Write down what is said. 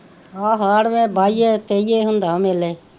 ਆਹੋ ਹਾੜ੍ਹ ਦੇ ਬਾਈਏ ਤੇਈਏ ਹੁੰਦਾ ਮੇਲੇ